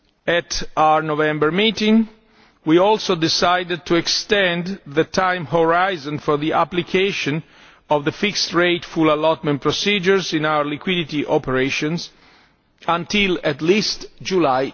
At our November meeting we also decided to extend the time horizon for the application of the fixed rate full allotment procedures in our liquidity operations until at least July